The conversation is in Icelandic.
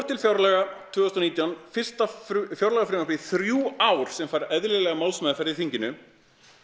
til fjárlaga tvö þúsund og nítján fyrsta fjárlagafrumvarpið í þrjú ár sem fær eðlilega málsmeðferð í þinginu